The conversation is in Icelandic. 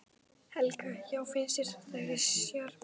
Helga: Já finnst þér þetta ekki sjarmerandi?